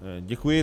Děkuji.